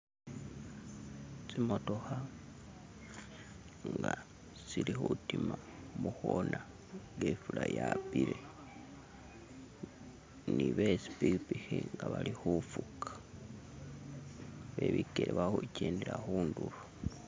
Tsimotokha tsilikhutima mukona nga ifula ya'pila ne betsipikipiki nga bali khufuga, be bikele bali khukendela khundulo.